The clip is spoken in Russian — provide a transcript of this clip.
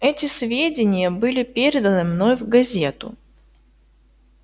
эти сведения были переданы мной в газету